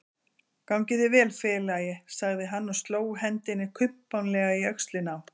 Gangi þér vel félagi, sagði hann og sló hendinni kumpánlega í öxlina á